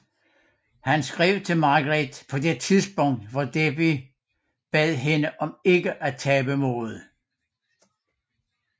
Han skrev til Margret på det tidspunkt fra Dieppe og bad hende om ikke at tabe modet